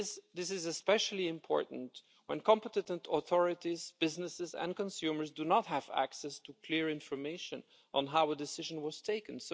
This is especially important when competent authorities, businesses and consumers do not have access to clear information on how the decision was taken.